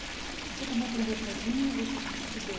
Você também aprendeu sozinho ou você estudou?